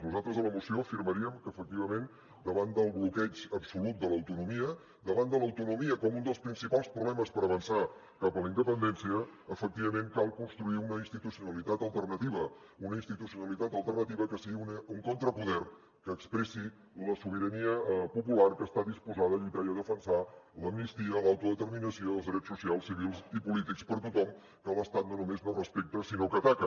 nosaltres a la moció afirmaríem que efectivament davant del bloqueig absolut de l’autonomia davant de l’autonomia com un dels principals problemes per avançar cap a la independència efectivament cal construir una institucionalitat alternativa una institucionalitat alternativa que sigui un contrapoder que expressi la sobirania popular que està disposada a lluitar i a defensar l’amnistia l’autodeterminació els drets socials civils i polítics per a tothom que l’estat no només no respecta sinó que ataca